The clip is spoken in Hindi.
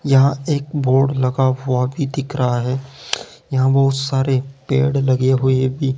यहां एक बोर्ड लगा हुआ भी दिख रहा है यहां बहोत सारे पेड़ लगे हुए भी--